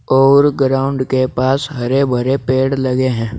और ग्राउंड के पास हरे भरे पेड़ लगे है।